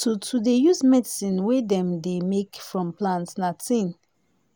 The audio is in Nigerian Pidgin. to to dey use medicine wey dem dey make from plant na thing